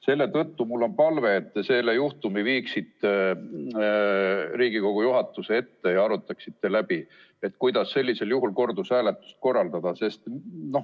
Selle tõttu on mul palve, et te selle juhtumi viiksite Riigikogu juhatuse ette ja arutaksite läbi, kuidas sellisel juhul kordushääletust korraldada.